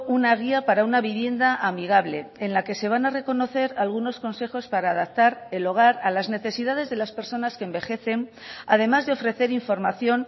una guía para una vivienda amigable en la que se van a reconocer algunos consejos para adaptar el hogar a las necesidades de las personas que envejecen además de ofrecer información